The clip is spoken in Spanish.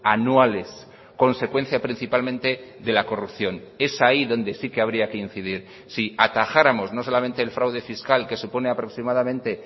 anuales consecuencia principalmente de la corrupción es ahí donde sí que habría que incidir si atajáramos no solamente el fraude fiscal que supone aproximadamente